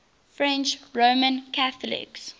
french roman catholics